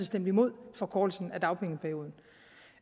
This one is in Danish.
stemte imod forkortelsen af dagpengeperioden